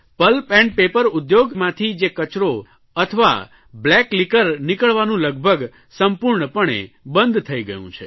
pulp and paper ઉદ્યોગમાંથી જે કચરો અથવા બ્લેક લિકર નીકળવાનું લગભગ સંપૂર્ણપણે બંધ થઇ ગયું છે